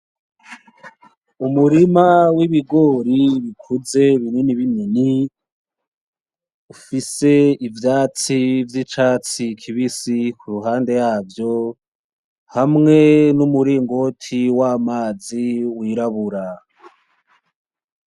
Umurima w'ibigori bikuze binini binini, ufise ivyatsi vy'icatsi kibisi kuruhande yavyo hamwe n'umuringoti w'amazi w'irabura.